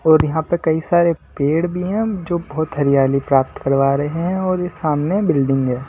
और यहां पर कई सारे पेड़ भी हैं जो बहुत हरियाली प्राप्त करवा रहे हैं और ये सामने बिल्डिंग है।